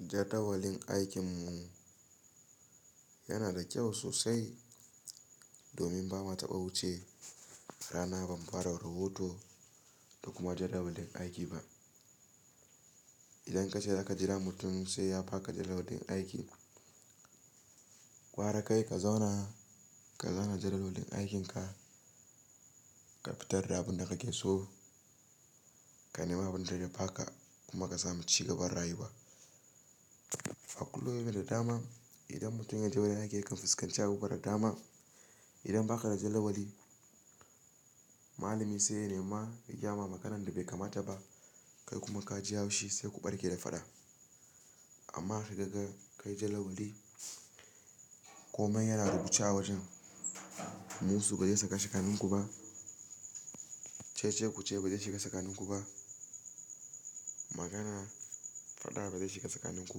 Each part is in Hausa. Jadawalin aikinmu yana da kyau sosai domin ba mu taɓa wuce rana ba mu fara rahoto da kuma jadawalin aiki ba. Idan ka ce za ka jira mutum sai ya ba ka jadawalin aiki, ƙwara kai ka zauna ka zana jadawalin aikinka, ka fitar da abin da kake so, ka nema abin da zai ba ka kuma ka sami cigaban rayuwa. A kullum yana da dama idan mutumin yaje wajen aiki yakan fuskanci abubuwa da dama. Idan ba ka da jadawali, malami sai ya nema ya gayama maganan da bai kamata ba kai kuma ka ji yaushi sai ku ɓarke da faɗa. Amma idan kai jadawali komai yana rubuce a wajen. Musu ba zai shiga tsakaninku ba, cece-kuce ba zai shiga tsakaninku ba, maganan faɗa ba zai shiga tsakaninku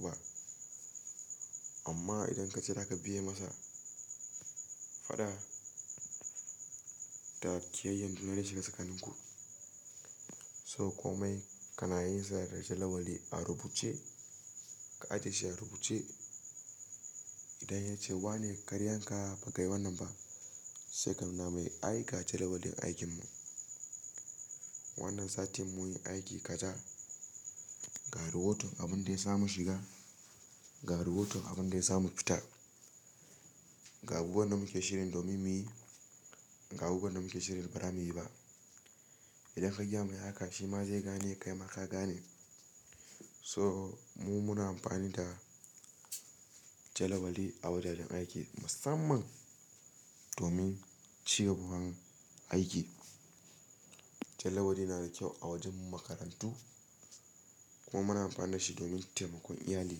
ba. Amma idan ka ce za ka biye masa faɗa, to kiyayyan juna zai shiga tsakaninku. To komai kana yin sa da jadawali a rubuce, ka ajiye shi a rubuce. Idan ya ce wa ne karyanka ba kai wannan ba, sai ka nuna mai aiki a jadawalin aikinmu. Wannan satin mun yi aiki kaza, ga rahoton abin da ya sa mu shiga, ga rahoton abin da ya sa mu fita, ga abubuwan da muke shirin domin muyi, ga abubuwan da muke shirin ba za mu yi ba. Idan ka gayamai haka shi ma zai gane kai ma ka gane. To mu muna amfani da jadawali a wuraren aiki musamman domin cigaban aiki. Jadawali yana da kyau a wajen makarantu kuma muna amfani da shi domin taimakon iyali,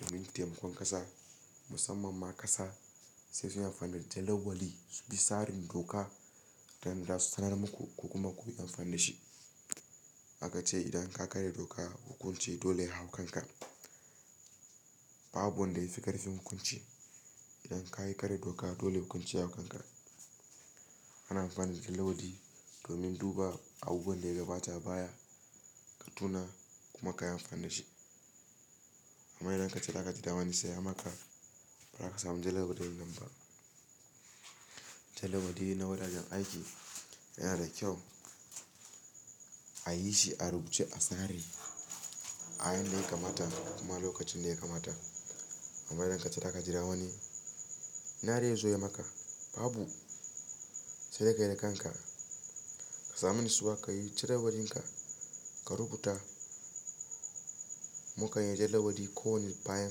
domin taimakon ƙasa. Musamman ma kasa sai sun yi amfani da jadawali, su bi tsarin doka da su sanar muku ku kuma ku yi amfani da shi. A ka ce idan ka karya doka hukunci dole ya hau kanka. Babu wanda ya fi kar fin hukunci. Idan ka yi karya doka dole hukunci ya hau kanka. Ana amfani da jadawali domin duba abubuwan daya gaba ta baya ka tuna kuma ka yi amfani da shi. Amma idan ka ce za ka ji damuni sai ya maka ba za ka samu jadawalin nan ba. Jadawali na wuraren aiki yana da kyau a yi shi a rubuce a tsare a hanyar da ya kamata kuma lokacin da ya kamata. Amma idan ka ce za ka jira wani, "ina zaizo ya maka", babu sai da ka yi da kanka ka sami nisuwa ka yi jadawalinka, ka rubuta. Mukan yi jadawali kowani bayan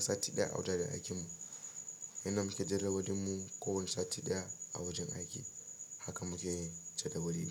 sati ɗaya a wajajen aikinmu. Yanda muke jadawalin mu kowane sati ɗaya a wajen aiki. Haka muke yin jadawali.